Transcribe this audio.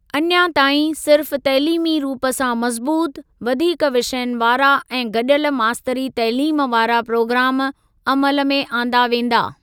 अञां ताईं, सिर्फ तइलीमी रूप सां मज़बूत, वधीक विषयनि वारा ऐं गॾियल मास्तरी तइलीम वारा प्रोग्राम अमल में आंदा वेंदा।